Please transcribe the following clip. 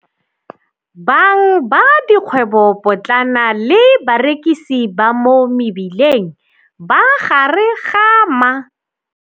Bang ba dikgwebopotlana le barekisi ba mo mebileng ba gare ga ma.